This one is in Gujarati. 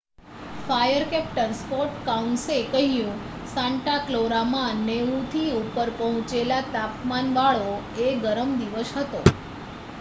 "ફાયર કૅપ્ટન સ્કૉટ કાઉન્સે કહ્યું "સાન્ટા ક્લેરામાં 90ની ઉપર પહોંચેલા તાપમાનવાળો એ ગરમ દિવસ હતો.